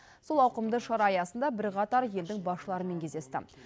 сол ауқымды шара аясында бірқатар елдің басшыларымен кездесті